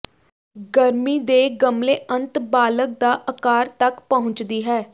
ਗਰਮੀ ਦੇ ਗਮਲੇ ਅੰਤ ਬਾਲਗ ਦਾ ਆਕਾਰ ਤੱਕ ਪਹੁੰਚਦੀ ਹੈ